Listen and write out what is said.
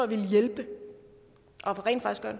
ville hjælpe